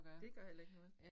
Det gør heller ikke noget